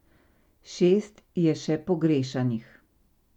Šest je še pogrešanih.